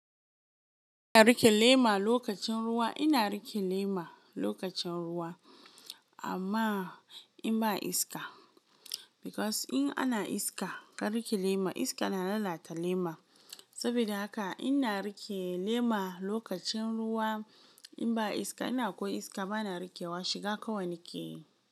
Ina rike lema lokacin ruwa, ina rike lema lokacin ruwa amma in ba iska because in ana iska, ka rike lema iska na lalata lema. Sabida haka ina rike lema lokacin ruwa in ba iska, ina ko iska bana rikewa shiga kawai na keyi.